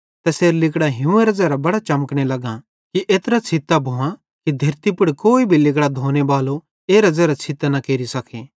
तैसेरां लिगड़ां हियूंवेरां ज़ेरां बड़ां चमकने लग्गां कि एत्रे छ़ित्तां भुआं कि धेरती पुड़ कोई भी लिगड़ां धोनेबालो एरां ज़ेरां छ़ित्तां न केरि सके